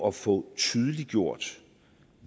at få tydeliggjort